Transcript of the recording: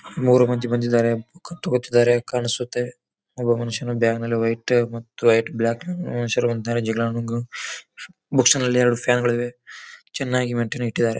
ಮೂರು ಮಂದಿ ಬಂದಿದ್ದಾರೆ ಬುಕ್ ತಗೋತಿದ್ದಾರೆ ಕಾಣಿಸುತ್ತೆ ಒಬ್ಬ ಮನುಷ್ಯನು ಬ್ಯಾಗ ಮೇಲೆ ವೈಟ್ ಮತ್ತೆ ವೈಟ್ ಬ್ಲಾಕ್ ಬುಕ್ಸ್ ನಲ್ಲಿ ಎರಡು ಫ್ಯಾನ್ಗಳಿವೆ ಚೆನ್ನಾಗಿ ಮೈನ್ಟೈನ್ ಇಟ್ಟಿದಾರೆ.